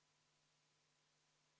Vabariigi Valitsus algatas eelnõu 11. aprillil.